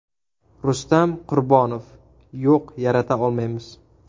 Rustam Qurbonov: Yo‘q, yarata olmaymiz.